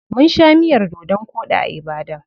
Mun sha miyar dodon koɗi a Ibadan.